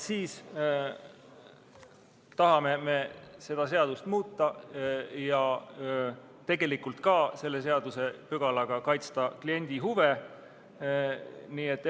Me tahame seda seadust muuta ja ka tegelikult selle seadusepügalaga kliendi huve kaitsta.